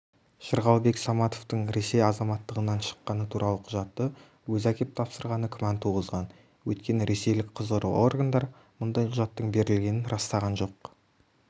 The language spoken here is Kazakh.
жырғалбек саматовтың ресей азаматтығынан шыққаны туралы құжатты өзі әкеп тапсырғаны күмән туғызған өйткені ресейлік құзырлы органдар мұндай құжаттың берілгенін растаған жоқ